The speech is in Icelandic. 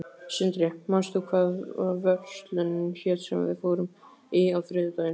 Sindri, manstu hvað verslunin hét sem við fórum í á þriðjudaginn?